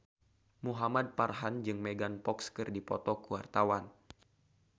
Muhamad Farhan jeung Megan Fox keur dipoto ku wartawan